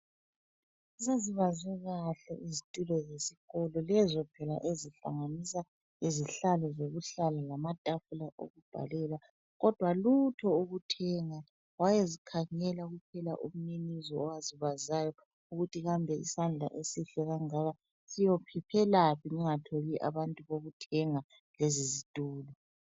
Sezibazwe kahle izitulo zesikolo, lezo phela ezihlanganisa izihlalo zokuhlala lamatafula okubhalela kodwa lutho ukuthengwa. Wayezikhangela kuphela umninizo owazibazayo ukuthi kambe isandla esihle kangaka siyophephelaphi ngingatholi abantu bokuthenga lezi zitulo.